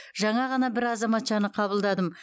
жаңа ғана бір азаматшаны қабылдадым